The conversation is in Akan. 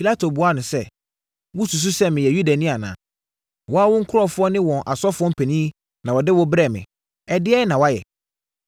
Pilato buaa Yesu sɛ, “Wosusu sɛ meyɛ Yudani anaa? Wo ara wo nkurɔfoɔ ne wɔn asɔfoɔ mpanin na wɔde wo brɛɛ me. Ɛdeɛn na woayɛ?”